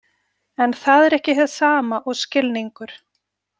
En það er ekki hið sama og skilningur.